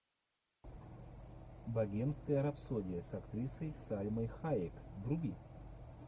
богемская рапсодия с актрисой сальмой хайек вруби